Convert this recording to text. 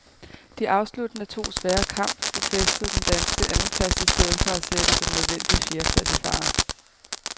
De afsluttende to svære kamp befæstede den danske andenplads i stedet for at sætte den nødvendige fjerdeplads i fare.